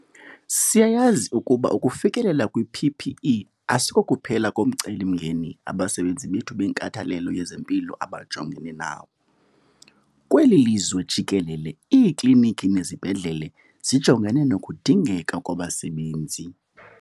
Siyayazi ukuba ukufikelela kwi-PPE asikokuphela komcelimngeni abasebenzi bethu benkathalelo yezempilo abajongene nawo. Kweli lizwe jikelele iikliniki nezibhedlele zijongene nokudingeka kwabasebenzi.